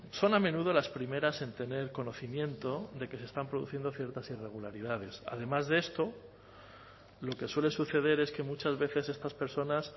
son a menudo las primeras en tener conocimiento de que se están produciendo ciertas irregularidades además de esto lo que suele suceder es que muchas veces estas personas